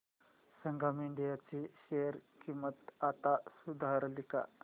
संगम India ची share किंमत आता सुधारली का